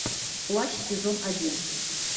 плащ сезон один